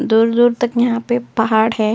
दूर-दूर तक यहाँ पे पहाड़ है।